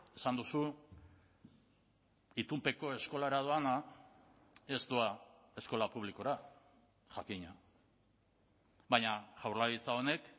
esan duzu itunpeko eskolara doana ez doa eskola publikora jakina baina jaurlaritza honek